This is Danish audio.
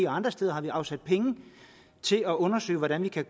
andre steder afsat penge til at undersøge hvordan vi kan